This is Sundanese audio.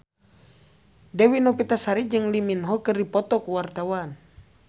Dewi Novitasari jeung Lee Min Ho keur dipoto ku wartawan